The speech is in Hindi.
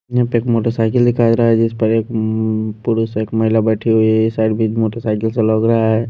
यहाँ पे एक मोटरसाइकिल दिखा रहा है जिस पर एक पुरुष एक महिला बैठी हुई है यह साइड भी मोटरसाइकिल से लग रहा है।